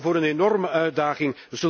We staan voor een enorme uitdaging.